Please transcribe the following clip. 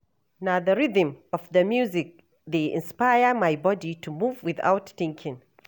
Na the rhythm of the music dey inspire my body to move without thinking.